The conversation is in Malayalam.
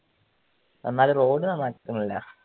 എന്നാലും road നന്നാക്കുന്നില്ല